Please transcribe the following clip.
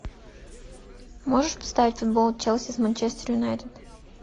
можешь поставить футбол челси с манчестер юнайтед